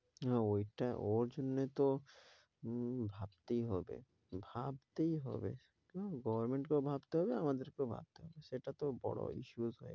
হ্যাঁ ওইটা এর জন্যে তো। উম ভাবতেই হবে ভাবতেই হবে। হ্যাঁ goverment কেও ভাবতেই হবে আমাদেরকেও ভাবতে হবে। সেটাতে বড় issurs হয়ে~